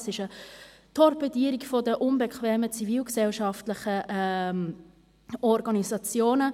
Es ist eine Torpedierung der unbequemen zivilgesellschaftlichen Organisationen.